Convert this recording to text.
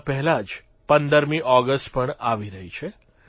તેના પહેલા જ 15મી ઓગષ્ટ પણ આવી રહી છે